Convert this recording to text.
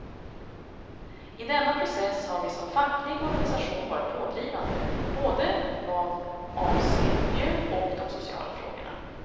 I denna process har vi som facklig organisation varit pådrivande, både vad avser miljön och de sociala frågorna.